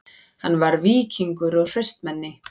Hann var víkingur og hraustmenni